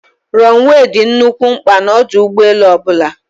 Rọnụwee dị nnukwu mkpa n'ọdụ ụgbọelu ọbụla.